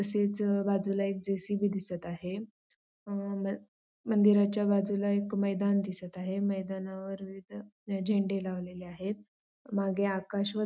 तसेच बाजूला एक जे सी बी दिसत आहे अ मन मंदिराच्या बाजूला एक मैदान दिसत आहे मैदानावर तिथ झेंडे लावलेले आहेत मागे आकाश व --